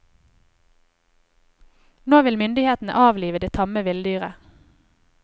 Nå vil myndighetene avlive det tamme villdyret.